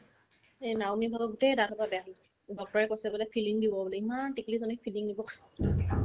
এই নাওমেন্তিজনৰ গোটেই দাঁত সোপাই বেয়া বাপকে কৈছে filling বোলে দিব ইমান টিকলিজনীক filling দিব